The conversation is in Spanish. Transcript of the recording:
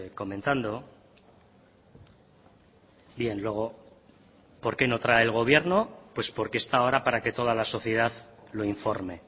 comentando bien luego por qué no trae el gobierno pues porque está ahora para que toda la sociedad lo informe